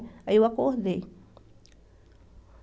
Aí eu acordei.